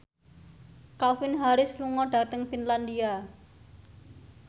Calvin Harris lunga dhateng Finlandia